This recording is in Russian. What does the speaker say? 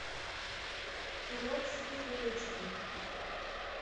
уродцы фулл эйч ди